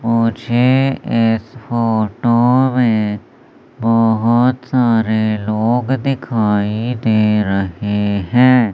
मुझे इस फोटो में बोहोत सारे लोग दिखाई दे रहें हैं।